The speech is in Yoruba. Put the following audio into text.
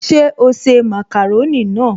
Ṣe o se màkàrónì náà?